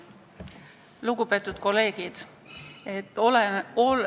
Lugupeetud kolleegid!